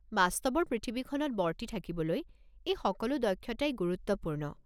বাস্তৱৰ পৃথিৱীখনত বৰ্তি থাকিবলৈ এই সকলো দক্ষতাই গুৰুত্বপূৰ্ণ।